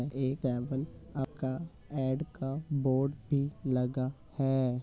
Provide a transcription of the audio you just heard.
एक ऐड का बोर्ड भी लगा है।